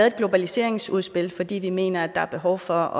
et globaliseringsudspil fordi vi mener der er behov for